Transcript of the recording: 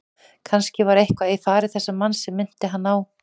Kannske var eitthvað í fari þessa manns sem minnti hann á